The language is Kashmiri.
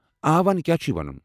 آ، ون کیٛاہ چھےٚ وَنُن ؟